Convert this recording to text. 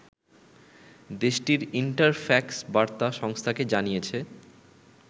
দেশটির ইন্টারফ্যাক্স বার্তা সংস্থাকে জানিয়েছে